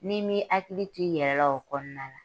N'i m'i hakili t'i yɛrɛ la o kɔnɔna na